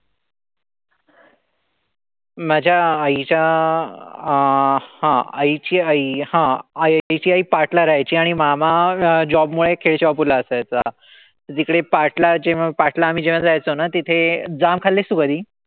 माझ्या आईच्या अं हा आईची आई हा आईची आई पाट ला राहायची आणि मामा job मुळे ला असायचा. तिकडे पाट ला जेव्हा पाट ला जेव्हा आम्ही जायचो ना ते तिथे. जाम खाल्लेस तू कधी?